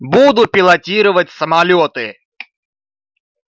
буду пилотировать самолёты